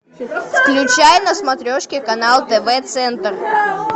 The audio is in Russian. включай на смотрешке канал тв центр